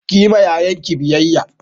Ka yi ma yayanki biyayya!